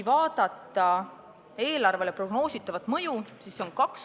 Vaatame prognoositavat mõju eelarvele.